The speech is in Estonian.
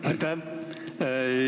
Aitäh!